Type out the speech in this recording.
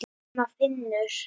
Nema Finnur.